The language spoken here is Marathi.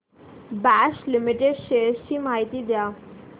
बॉश लिमिटेड शेअर्स ची माहिती द्या